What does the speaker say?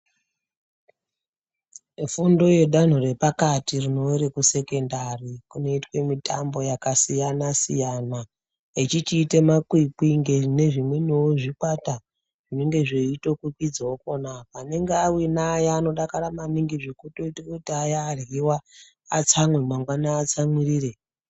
Fundo yedanho repakati rekusekondari kunoitwa mutambo yakasiyana siyana achiita makwikwi nezvimweni zvikwata zvinenge zvichikwikwidzawo pona apapo anenge awina aya anodakara maningi zvekuti Aya aryiwa atsamwirire.